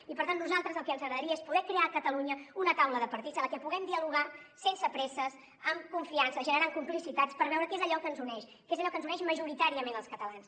i per tant a nosaltres el que ens agradaria és poder crear a catalunya una taula de partits en la qual puguem dialogar sense presses amb confiança generant complicitats per veure què és allò que ens uneix que és allò que ens uneix majoritàriament als catalans